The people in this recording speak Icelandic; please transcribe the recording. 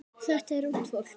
Þetta er ungt fólk.